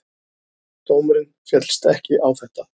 Dómurinn féllst ekki á þetta.